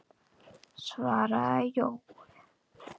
svaraði Jói.